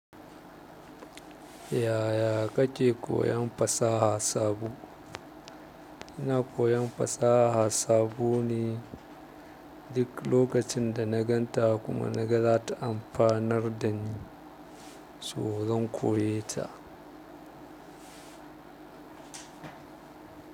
Yaya kake koyon fasaha sabo? Ina koyon fasaha sabo ne duk lokacin da na gan ta kuma na ga za ta amfanar da ni, so zan koye ta.